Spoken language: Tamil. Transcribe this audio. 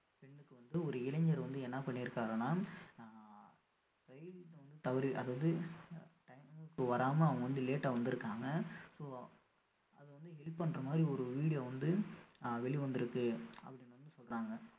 பெண்ணுக்கு வந்து ஒரு இளைஞர் வந்து என்ன பண்ணியிருக்காருன்னா ஆஹ் ரயில்ல தவறி அதாவது time க்கு வராம அவங்க வந்து late ஆ வந்திருக்காங்க so அது வந்து help பண்ற மாரி ஒரு video வந்து ஆஹ் வெளிவந்திருக்கு அப்படின்னு வந்து சொல்றாங்க